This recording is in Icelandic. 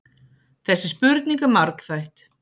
Þessi spurning er margþætt.